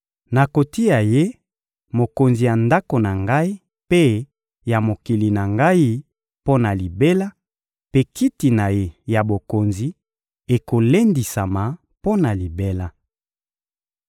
Nakotia ye mokonzi ya ndako na Ngai mpe ya mokili na Ngai mpo na libela, mpe kiti na ye ya bokonzi ekolendisama mpo na libela.›»